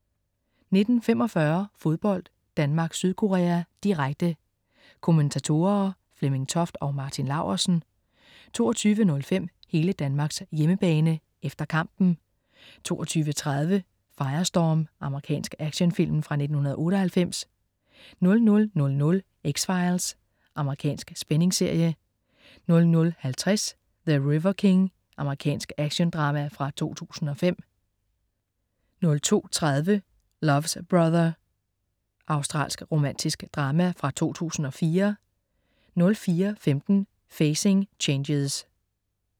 19.45 Fodbold: Danmark-Sydkorea, direkte. Kommentatorer: Flemming Toft og Martin Laursen 22.05 Hele Danmarks hjemmebane, efter kampen 22.30 Firestorm. Amerikansk actionfilm fra 1998 00.00 X-Files. Amerikansk spændingsserie 00.50 The River King. Amerikansk actiondrama fra 2005 02.30 Love's Brother. Australsk romantisk drama fra 2004 04.15 Facing Changes